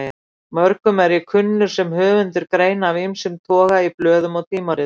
Mörgum er ég kunnur sem höfundur greina af ýmsum toga í blöðum og tímaritum.